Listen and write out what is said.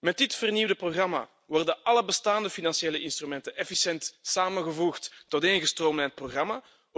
Met dit vernieuwde programma worden alle bestaande financiële instrumenten efficiënt samengevoegd tot één gestroomlijnd programma.